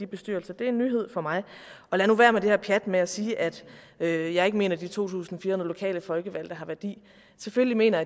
bestyrelser det er en nyhed for mig lad nu være med det her pjat med at sige at jeg jeg ikke mener de to tusind fire hundrede lokale folkevalgte har værdi selvfølgelig mener